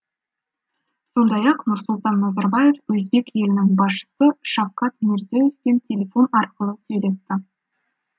сондай ақ нұрсұлтан назарбаев өзбек елінің басшысы шавкат мирзие евпен телефон арқылы сөйлесті